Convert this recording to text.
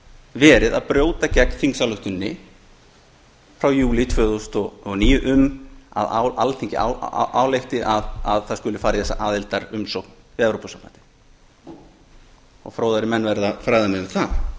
verið að brjóta gegn þingsályktuninni frá júlí tvö þúsund og níu um að alþingi álykti að það skuli fara í þessa aðildarumsókn við evrópusambandið fróðari menn verða að fræða mig um